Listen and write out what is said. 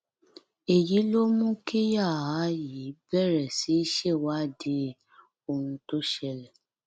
èyí ló mú kíyàá yìí bẹrẹ sí í ṣèwádìí ohun tó ṣẹlẹ